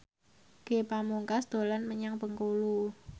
Ge Pamungkas dolan menyang Bengkulu